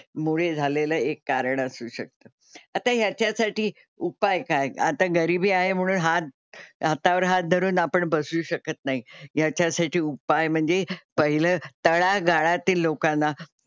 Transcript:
मुळे झालेलं एक कारण असू शकतं. आता ह्याच्यासाठी उपाय काय? आता गरिबी आहे म्हणून हात हातावर हात धरून आपण बसू शकत नाही. याच्यासाठी उपाय म्हणजे पहिलं तळागाळातील लोकांना,